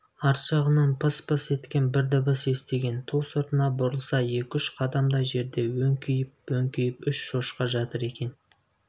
арт жағынан пыс-пыс еткен бір дыбыс естіген ту сыртына бұрылса екі-үш қадамдай жерде өңкиіп-өңкиіп үш шошқа жатыр екен